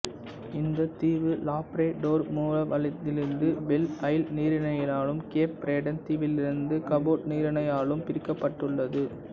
இந்தத் தீவு லாப்ரடோர் மூவலந்தீவிலிருந்து பெல் ஐல் நீரிணையாலும் கேப் பிரெடன் தீவிலிருந்து கபோட் நீரிணையாலும் பிரிக்கப்பட்டுள்ளது